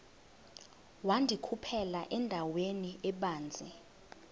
wandikhuphela endaweni ebanzi